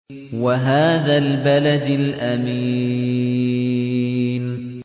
وَهَٰذَا الْبَلَدِ الْأَمِينِ